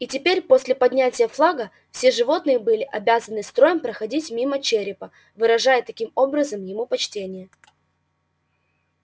и теперь после поднятия флага все животные были обязаны строем проходить мимо черепа выражая таким образом ему почтение